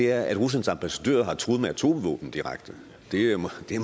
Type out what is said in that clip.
er at ruslands ambassadør har truet med atomvåben direkte det er måske i